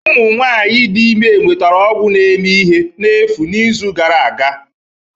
Ụmụ nwanyị dị ime nwetara ọgwụ na-eme ihe n'efu n'izu gara aga